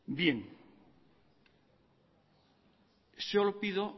solo pido